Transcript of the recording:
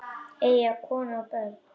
Eiga konu og börn?